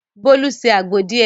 Bolu se àgbo díẹ̀.